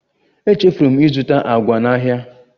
Echefuru m ịzụta agwa n'ahịa